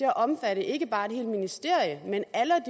at omfatte ikke bare et helt ministerium men alle